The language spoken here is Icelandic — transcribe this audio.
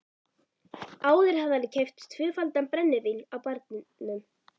Áður hafði hann keypt tvöfaldan brennivín á barnum.